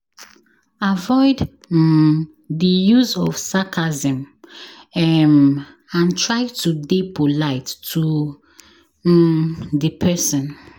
Avoid um di use of sarcasm um and try to dey polite to um di person